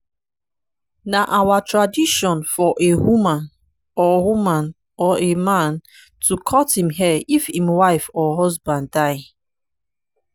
na our tradition for a woman or woman or a man to cut im hair if im wife or husband die.